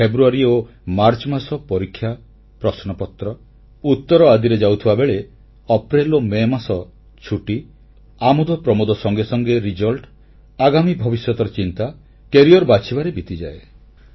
ଫେବୃୟାରୀ ଓ ମାର୍ଚ୍ଚମାସ ପରୀକ୍ଷା ପ୍ରଶ୍ନପତ୍ର ଉତ୍ତର ଆଦିରେ ଯାଉଥିବାବେଳେ ଅପ୍ରେଲ ଓ ମେ ମାସ ଛୁଟି ଆମୋଦପ୍ରମୋଦ ସଙ୍ଗେ ସଙ୍ଗେ ପରିକ୍ଷା ଫଳ ଆଗାମୀ ଭବିଷ୍ୟତର ଚିନ୍ତା କ୍ୟାରିଅର ବାଛିବାରେ ବିତିଯାଏ